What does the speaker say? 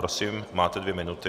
Prosím, máte dvě minuty.